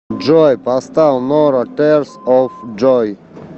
джой поставь норо тэрс оф джой